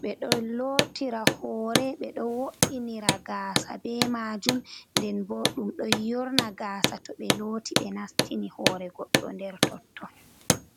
ɓe ɗo lotira hore, ɓe ɗo wo'inira gaasa be maajum, nden bo ɗum ɗo yorna gaasa to ɓe loti ɓe nastini hore goɗɗo nder totton.